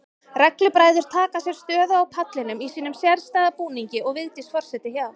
Reglubræður taka sér stöðu á pallinum í sínum sérstæða búningi og Vigdís forseti hjá.